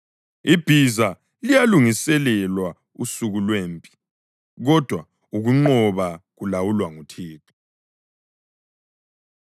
Ibhiza liyalungiselelwa usuku lwempi, kodwa ukunqoba kulawulwa nguThixo.